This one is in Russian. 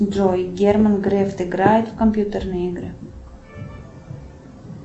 джой герман грефт играет в компьютерные игры